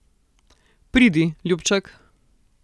Pridi, ljubček.